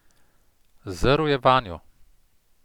Zrl je vanjo.